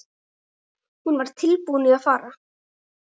Hún var tilbúin að fara.